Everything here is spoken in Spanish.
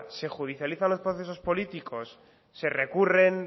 se judicializan los procesos políticos se recurren